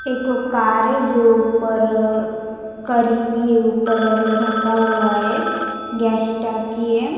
एक कार है जो ऊपर करी हुई ऊपर ऐसा रखा हुआ है गैस टाकी है.